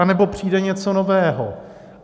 Anebo přijde něco nového.